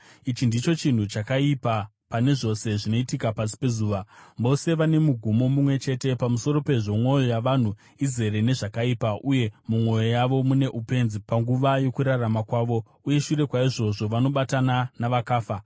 Ichi ndicho chinhu chakaipa pane zvose zvinoitika pasi pezuva: Vose vane mugumo mumwe chete. Pamusoro pezvo, mwoyo yavanhu izere nezvakaipa uye mumwoyo yavo mune upenzi panguva yokurarama kwavo, uye shure kwaizvozvo vanobatana navakafa.